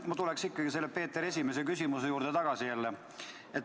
Ma tuleksin ikkagi jälle selle Peeter I küsimuse juurde tagasi.